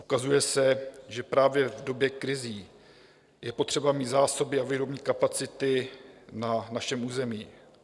Ukazuje se, že právě v době krizí je potřeba mít zásoby a výrobní kapacity na našem území.